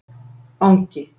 Angi